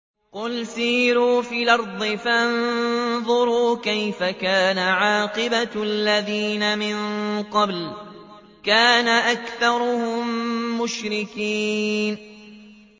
قُلْ سِيرُوا فِي الْأَرْضِ فَانظُرُوا كَيْفَ كَانَ عَاقِبَةُ الَّذِينَ مِن قَبْلُ ۚ كَانَ أَكْثَرُهُم مُّشْرِكِينَ